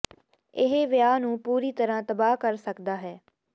ਇਹ ਵਿਆਹ ਨੂੰ ਪੂਰੀ ਤਰਾਂ ਤਬਾਹ ਕਰ ਸਕਦਾ ਹੈ